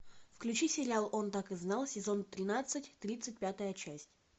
включи сериал он так и знал сезон тринадцать тридцать пятая часть